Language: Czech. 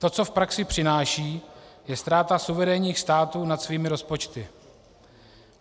To, co v praxi přináší, je ztráta suverénních států nad svými rozpočty.